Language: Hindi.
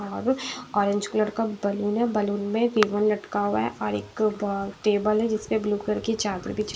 और ऑरेंज कलर का बलून है बलून में रिबन लटका हुआ है और एक टेबल है जिस पर ब्लू कलर की चादर बिछी हुई--